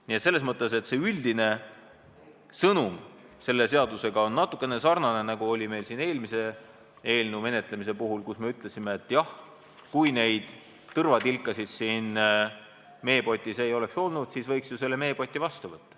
Nii et üldine sõnum selle seaduse puhul sarnaneb natuke sellega, mis meil oli eelmise eelnõu menetlemisel, kui ütlesime, et jah, kui neid tõrvatilkasid siin meepotis poleks, siis võiks ju selle meepoti vastu võtta.